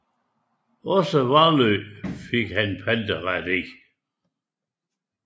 Også Vallø fik han panteret i